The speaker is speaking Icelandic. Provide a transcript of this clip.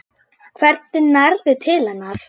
Hvernig nærðu til hennar?